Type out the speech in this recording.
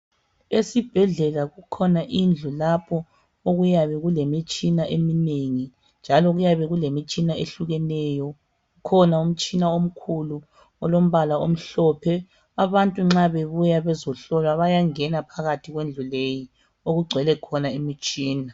Esibhedlela kukhona indlu lapho okuyabe kulemitshina eminengi njalo kuyabe kulemitshina ehlukeneyo. Kukhona umtshina omkhulu olombala omhlophe. Abantu nxa bebuya bezohlolwa bayangena phakathi kwendlu leyi okugcwele khona imitshina.